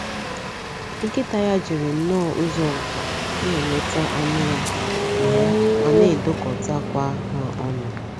Nkịta ya jiri nnọọ ụzọ nká na-eleta anụ ya ma ya ma na-edokotakwa ha ọnụ.